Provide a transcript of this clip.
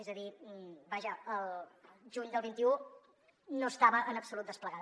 és a dir vaja el juny del vint un no estava en absolut desplegada